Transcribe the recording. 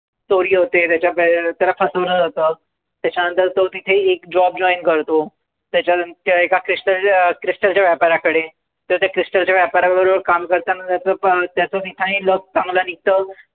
चोरी होते, त्याच्या त्याला फसवलं जातं. त्याच्यानंतर तो तिथे एक job join करतो. त्याच्यानंतर एका क्रिस्ट एका crystal च्या व्यापाऱ्याकडे तिथे crystal च्या व्यापाऱ्याबरोबर काम करताना त्याचं त्याचं luck चांगलं निघतं.